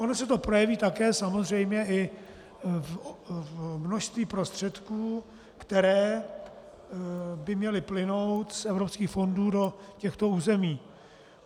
Ono se to projeví také samozřejmě i v množství prostředků, které by měly plynout z evropských fondů do těchto území.